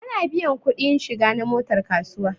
Ana biyan kuɗi shiga na motar kasuwa